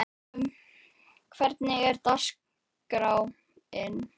Gefjun, hvernig er dagskráin?